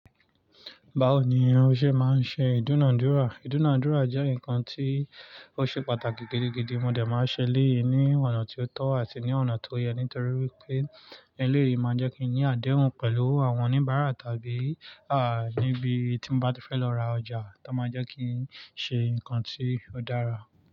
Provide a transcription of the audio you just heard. Báwo ni irun ọṣẹ máa ń ṣe ìdúnàádúrà? Ìdúnàádúrà jẹ́ nǹkan tí ó ṣe pàtàkì gidi gidi, mo dẹ̀ máa ń ṣe eléyìí ní ọ̀nà tí ó tọ́ àti ní ọ̀nà tó yẹ, nítorí wipé eléyìí máa jẹ́ kí n ní àdéhùn pẹ̀lú àwọn oníbàárà tàbí níbi tí mo bá ti fẹ́ lọ ra ọjà, táa máa jẹ́ kí n ṣe nǹkan tí ó dára.